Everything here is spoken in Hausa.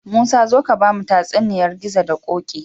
Musa zo ka bamu tatsuniyar gizo da koki